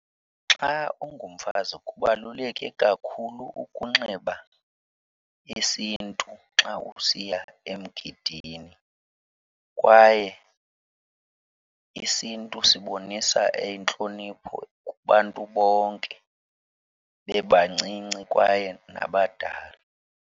Xa ungumfazi kubaluleke kakhulu ukunxiba isiNtu xa usiya emgidini kwaye isiNtu sibonisa intlonipho kubantu bonke bebancinci kwaye nabadala.